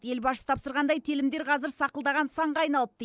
ел басшысы тапсырғандай телімдер қазір сақылдаған санға айналыпты